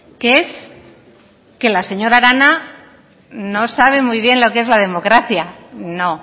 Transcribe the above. que es que la señora arana no sabe muy bien lo que es la democracia no